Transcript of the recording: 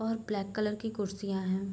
और black colour की कुर्सियाँ है।